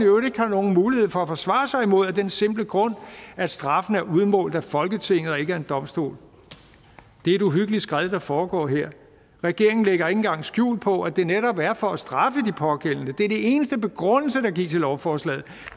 øvrigt ikke har nogen mulighed for at forsvare sig mod af den simple grund at straffen er udmålt af folketinget og ikke af en domstol det er et uhyggeligt skred der foregår her regeringen lægger ikke engang skjul på at det netop er for at straffe de pågældende det er den eneste begrundelse der gives i lovforslaget